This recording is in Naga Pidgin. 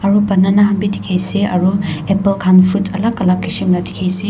ru banana han bi dikhi ase aro apple han fruits alak alak kishim la dikhi ase.